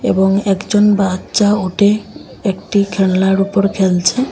এবং একজন বাচ্চা ওটে একটি খেলনার উপর খেলছে।